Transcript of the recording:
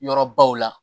Yɔrɔbaw la